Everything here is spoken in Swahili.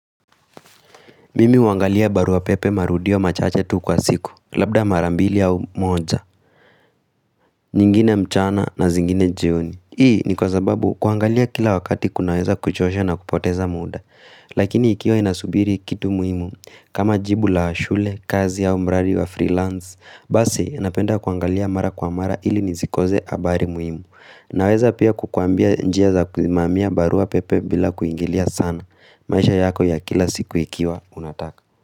Mimi huangalia barua pepe marudio machache tu kwa siku, labda mara mbili au moja, nyingine mchana na zingine jioni. Hii ni kwa zababu kuangalia kila wakati kunaweza kuchosha na kupoteza muda. Lakini ikiwa ninasubiri kitu muhimu kama jibu la shule kazi au mradi wa freelance basi napenda kuangalia mara kwa mara ili nisikose habari muhimu. Naweza pia kukuambia njia za kusimamia barua pepe bila kuingilia sana. Maisha yako ya kila siku ikiwa, unataka.